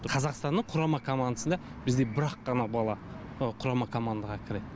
қазақстанның құрама командасына бізден бір ақ қана бала құрама командаға кіреді